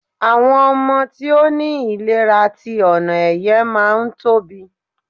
àwọn ọmọ tí o ni ilera ti onoeye ma n Tobi